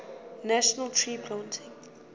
national tree planting